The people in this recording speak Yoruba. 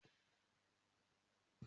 Mo máa ní ẹgbẹ́ tèmi